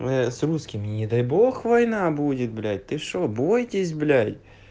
а ну с русскими не дай бог война будет блять ты что бойтесь блять